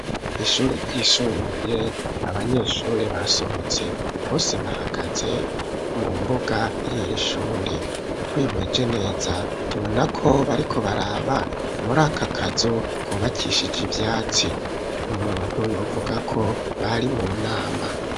Ishure ryishumbuye, abanyeshuri basohotse, bose bahagaje mu mbuga y'irishure, twihweje neza tubona ko bariko baraba muri akakazu kubakishija ivyatsi, umuntu yovuga ko bari mu nama.